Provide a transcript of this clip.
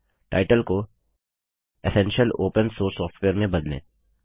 title को essential open source software में बदलें